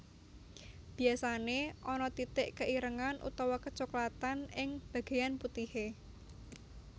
Biasané ana titik keirengan utawa kecoklatan ing bagéyan putihé